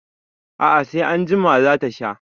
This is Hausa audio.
A'a, sai anjima za ta sha.